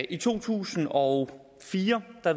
i to tusind og fire